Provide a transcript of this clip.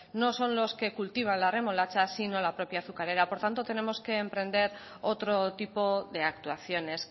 no son los que cultivan la remolacha si no la propia azucarera por tanto tenemos que emprender otro tipo de actuaciones